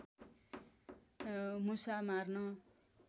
मुसा मार्न